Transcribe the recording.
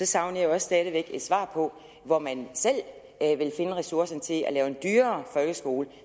savner jeg også stadig væk et svar på hvor man selv vil finde ressourcerne til at lave en dyrere folkeskole